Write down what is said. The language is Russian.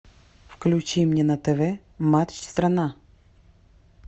включи мне на тв матч страна